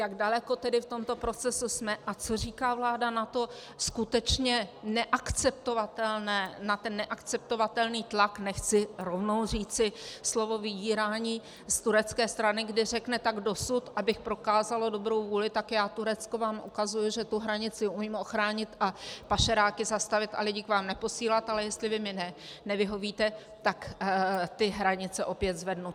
Jak daleko tedy v tomto procesu jsme a co říká vláda na to skutečně neakceptovatelné, na ten neakceptovatelný tlak, nechci rovnou říci slovo vydírání z turecké strany, kdy řekne: tak dosud, abych prokázalo dobrou vůli, tak já, Turecko, vám ukazuji, že tu hranici umím ochránit a pašeráky zastavit a lidi k vám neposílat, ale jestli vy mi nevyhovíte, tak ty hranice opět zvednu.